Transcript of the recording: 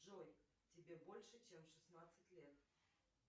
джой тебе больше чем шестнадцать лет